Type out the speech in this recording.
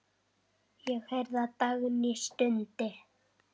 Ég heyrði að Dagný stundi.